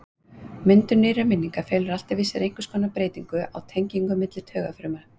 Myndun nýrra minninga felur alltaf í sér einhvers konar breytingu á tengingum á milli taugafruma.